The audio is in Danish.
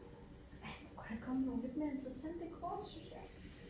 Ej kunne der ikke komme nogle lidt mere interessante kort syns jeg